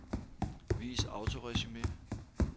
Vis autoresumé.